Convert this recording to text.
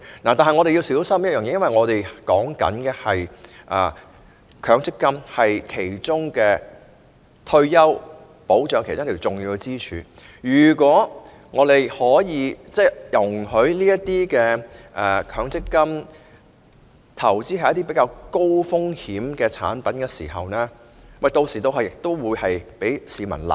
然而，我們要小心，因為強積金是退休保障其中一根重要支柱，假使容許強積金投資於一些較高風險的產品，一旦招致虧蝕，同樣會被市民責罵。